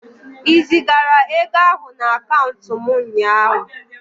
Ị zigara ego ahụ na akaụntụ m ụnyaahụ?